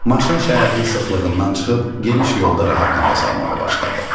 Maşın şəhərin sıxlığından çıxıb geniş yolda rahat nəfəs almağa başladı.